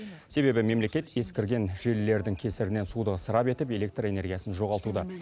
себебі мемлекет ескірген желілердің кесірінен суды ысырап етіп электр энергиясын жоғалтуда